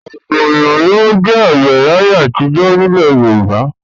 Ọ̀pọ̀ ènìyàn ni ó jẹ́ àgbẹ̀ láyé àtijọ́ nílẹ̀ Yorùbá.